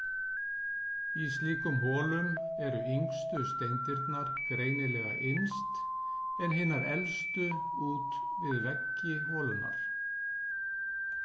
Í slíkum holum eru yngstu steindirnar greinilega innst, en hinar elstu út við veggi holunnar.